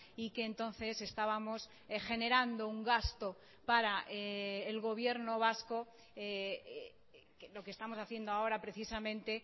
y que entonces estábamos generando un gasto para el gobierno vasco lo que estamos haciendo ahora precisamente